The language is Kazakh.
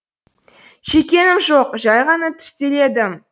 шеккенім жоқ жай ғана тістеледім